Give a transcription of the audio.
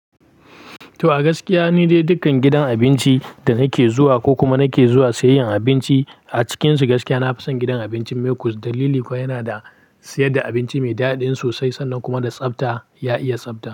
To a gaskiya ni dai dukkan gidan abinci da nake zuwa ko kuma nake zuwa sayayyen abinci a cikinsu gaskiya na fason gidan abincin Mekus, dalili kuwa yana da siyar da abinci mai daɗi sosai sannan kuma da tsafta ya iya tsafta.